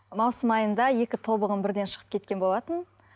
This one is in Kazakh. маусым айында екі тобығым бірден шығып кеткен болатын